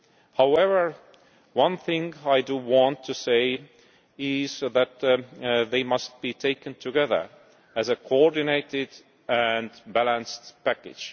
However, one thing I do want to say is that they must be taken together as a coordinated and balanced package.